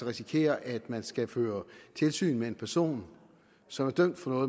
risikere at man skal føre tilsyn med en person som er dømt for